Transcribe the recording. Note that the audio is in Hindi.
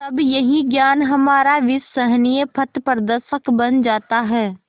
तब यही ज्ञान हमारा विश्वसनीय पथप्रदर्शक बन जाता है